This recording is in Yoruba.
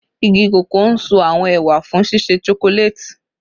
Igi koko n so awọn ewa fun ṣiṣe chocolate